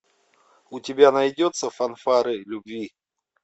у тебя найдется фанфары любви